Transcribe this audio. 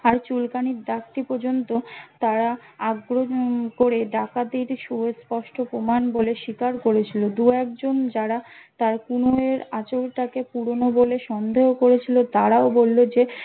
আর চুলকানীর দাগটি পর্যন্ত তারা আগ্রহন করে ডাকাতির সুর স্পষ্ট প্রমাণ বলে স্বীকার করেছিল দু এক জন যারা তার কণুই এর আঁচড় টাকে পুরোনো বলে সন্দেহ করেছিল তারাও বললো যে